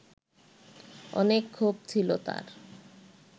অনেক ক্ষোভ ছিল তার